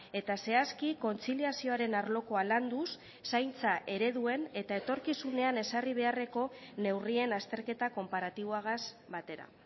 eta zehazki kontziliazioaren arlokoa landuz zaintza ereduen eta etorkizunean ezarri beharreko neurrien azterketa konparatiboagaz batera